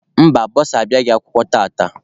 Mba, bọsa abịaghị akwụkwọ tata.